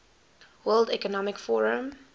world economic forum